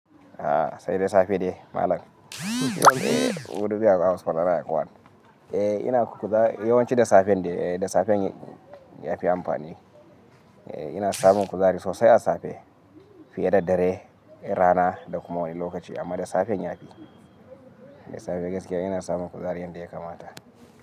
Sai da safe ne malam. Eh, wudubi a hospital yana yawan. Eh ina kula yawanci da safen ne, da safen yafi amfani. Eh ina samun kuzari sosai a safe fiye da dare, rana da kuma wani lokaci amma da safen yafi. Da safe gaskiya ina samun kuzari yadda ya kamata.